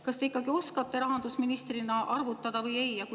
Kas te ikkagi oskate rahandusministrina arvutada või mitte?